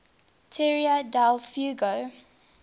tierra del fuego